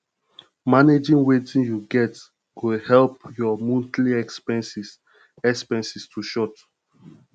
managing wetin yu get go help yur monthly expenses expenses to short